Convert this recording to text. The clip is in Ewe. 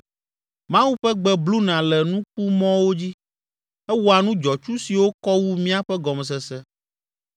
Mawu ƒe gbe bluna le nukumɔwo dzi, ewɔa nu dzɔtsu siwo kɔ wu míaƒe gɔmesese.